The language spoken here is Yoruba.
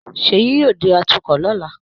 Ṣèyí yóò di atukọ̀ lọ́la